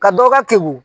Ka dɔ ka ke wo